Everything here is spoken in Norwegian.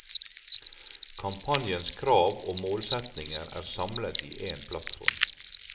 Kampanjens krav og målsetninger er samlet i en plattform.